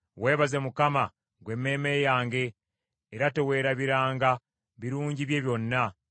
Weebaze Mukama , ggwe emmeeme yange, era teweerabiranga birungi bye byonna.